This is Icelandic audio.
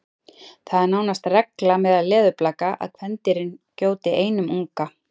Það er nánast regla meðal leðurblaka að kvendýrin gjóti einum unga.